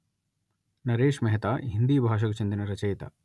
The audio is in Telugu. నరేశ్ మెహతా హిందీ భాషకు చెందిన రచయిత